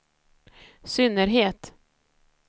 synnerhet